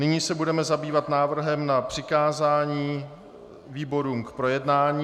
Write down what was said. Nyní se budeme zabývat návrhem na přikázání výborům k projednání.